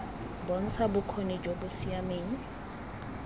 bontsha bokgoni jo bo siameng